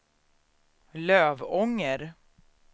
Lövånger